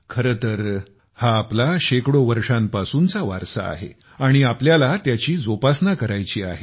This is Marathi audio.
खर तर हा आपला शेकडो वर्षापासूनचा वारसा आहे आणि आपल्याला त्याची जोपासना करायची आहे